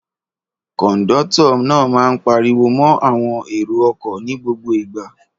Kọ̀ńdọ́tọ̀ náà máa ń pariwo mọ́ àwọn èrò-ọkọ̀ ní gbogbo ìgbà.